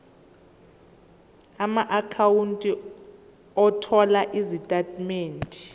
amaakhawunti othola izitatimende